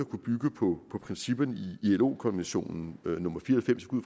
kunne bygge på principperne i ilo konvention nummer fire